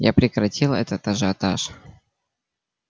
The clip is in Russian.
я прекратил этот ажиотаж